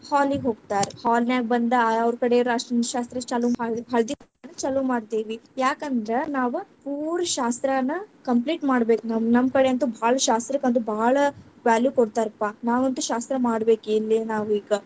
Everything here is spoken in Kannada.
Hall ಗ್ ಹೋಗ್ತಾರ, hall ನ್ಯಾಗ ಬಂದ್‌ ಅವ್ರಕಡೆ ಅರಷಣ ಶಾಸ್ತ್ರ ಚಾಲು ಮಾಡಿ ಹಳದಿ ಚಾಲು ಮಾಡ್ತೀವಿ, ಯಾಕಂದ್ರ ನಾವ್ ಪೂರಾ ಶಾಸ್ತ್ರಾನ complete ಮಾಡ್ಬೇಕ ನಮ್‌~ ನಮ್ಮ ಕಡೆ ಅಂತೂ ಭಾಳ ಶಾಸ್ತ್ರಕಂತೂ ಭಾಳ value ಕೊಡ್ತಾರಪ್ಪಾ, ನಾವಂತು ಶಾಸ್ತ್ರ ಮಾಡಬೇಕ್ ಇಲ್ಲೆ ನಾವ್‌ ಇಗಾ.